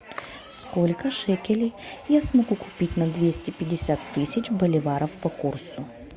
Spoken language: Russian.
сколько шекелей я смогу купить на двести пятьдесят тысяч боливаров по курсу